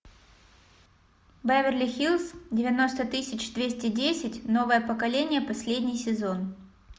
беверли хиллз девяносто тысяч двести десять новое поколение последний сезон